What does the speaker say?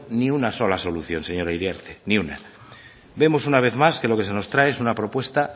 ni una sola solución señora iriarte ni una vemos una vez más que lo que nos trae es una propuesta